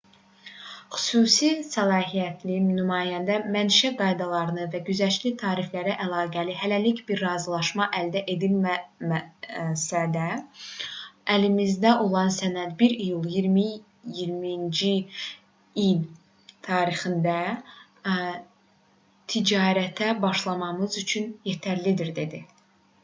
xüsusi səlahiyyətli nümayəndə mənşə qaydaları və güzəştli tariflərlə əlaqəli hələlik bir razılaşma əldə edilməsə də əlimizdə olan sənəd 1 iyul 2020-ci il tarixində ticarətə başlamamız üçün yetərlidir dedi